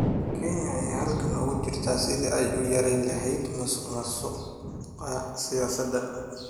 Kenya ayaa halgan ugu jirta sidii ay u yarayn lahayd musuqmaasuqa siyaasadda.